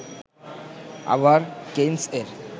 আবার কেইনস-এর